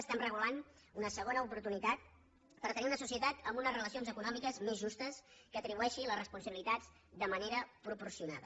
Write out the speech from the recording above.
estem regulant una segona oportunitat per tenir una societat amb unes relacions econòmiques més justes que atribueixi les responsabilitats de manera proporcionada